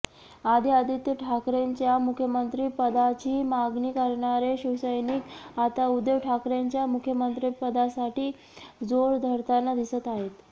आधी आदित्य ठाकरेंच्या मुख्यमंत्रिपदाची मागणी करणारे शिवसैनिक आता उद्धव ठाकरेंच्या मुख्यमंत्रिपदासाठी जोर धरताना दिसत आहेत